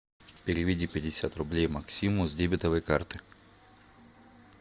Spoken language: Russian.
переведи пятьдесят рублей максиму с дебетовой карты